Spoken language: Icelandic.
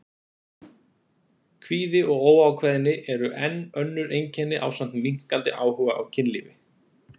Kvíði og óákveðni eru enn önnur einkenni ásamt minnkandi áhuga á kynlífi.